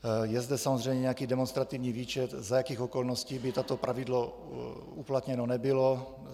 Je zde samozřejmě nějaký demonstrativní výčet, za jakých okolností by toto pravidlo uplatněno nebylo.